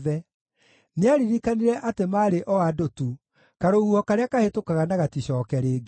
Nĩaaririkanire atĩ maarĩ o andũ tu, karũhuho karĩa kahĩtũkaga na gaticooke rĩngĩ.